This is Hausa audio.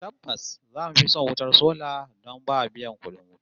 Tabbas zamu fi son wutar sola don ba biyan kudin wuta